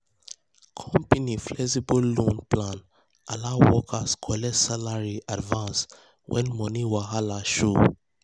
um company flexible loan um plan allow workers collect salary um advance when money wahala show.